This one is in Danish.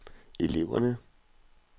eleverne